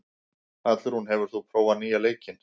Hallrún, hefur þú prófað nýja leikinn?